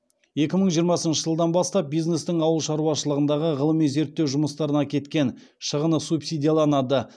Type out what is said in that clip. екі мың жиырмасыншы жылдан бастап бизнестің ауыл шаруашылығындағы ғылыми зерттеу жұмыстарына кеткен шығыны субсидияланады